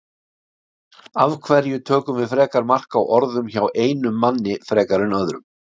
Af hverju tökum við frekar mark á orðum hjá einum manni frekar en öðrum?